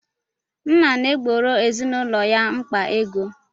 Nna na-egboro ezinaụlọ ya mkpa ego.